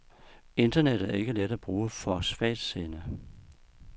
Internettet er ikke let at bruge for svagtseende.